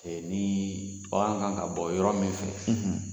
Ee ni bagan kan ka bɔ yɔrɔ min fɛ